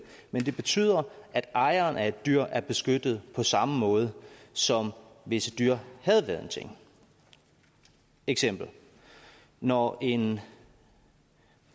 men det betyder at ejeren af et dyr er beskyttet på samme måde som hvis et dyr havde været en ting eksempel når en